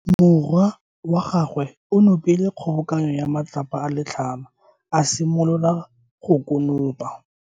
Morwa wa gagwe o nopile kgobokano ya matlapa a le tlhano, a simolola go konopa.